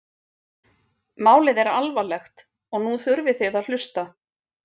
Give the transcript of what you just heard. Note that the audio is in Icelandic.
Málið er alvarlegt og nú þurfið þið að hlusta?